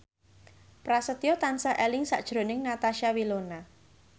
Prasetyo tansah eling sakjroning Natasha Wilona